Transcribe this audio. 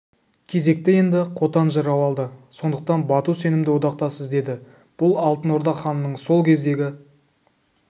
кезекті енді қотан жырау алды сондықтан бату сенімді одақтас іздеді бұл алтын орда ханының сол кездегі